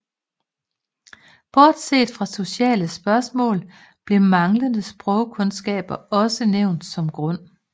Bortset fra sociale spørgsmål blev manglende sprogkundskaber også nævnt som grund